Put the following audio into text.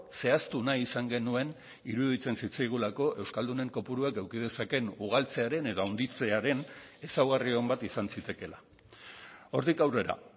zehaztu nahi izan genuen iruditzen zitzaigulako euskaldunen kopuruak eduki dezakeen ugaltzearen edo handitzearen ezaugarri on bat izan zitekeela hortik aurrera